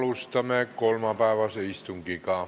Alustame kolmapäevast istungit.